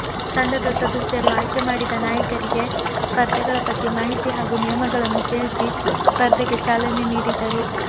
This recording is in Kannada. ತಂಡದ ಸದಸ್ಯರು ಆಯ್ಕೆ ಮಾಡಿದ ನಾಯಕರಿಗೆ ಸ್ಪರ್ಧೆಗಳ ಬಗ್ಗೆ ಮಾಹಿತಿ ಹಾಗೂ ನಿಯಮಗಳನ್ನು ತಿಳಿಸಿ ಸ್ಪರ್ಧೆಗೆ ಚಾಲನೆ ನೀಡಿದರು